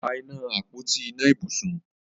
pá iná Àpótí iná ibùsùn